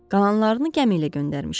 Qalanlarını gəmi ilə göndərmişəm.